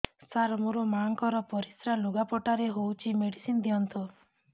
ସାର ମୋର ମାଆଙ୍କର ପରିସ୍ରା ଲୁଗାପଟା ରେ ହଉଚି ମେଡିସିନ ଦିଅନ୍ତୁ